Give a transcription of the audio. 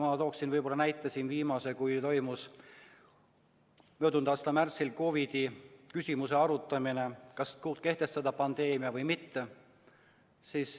Ma toon siin näite selle kohta, kui möödunud aasta märtsis toimus COVID-i küsimuse arutamine, et kas kuulutada välja pandeemia või mitte.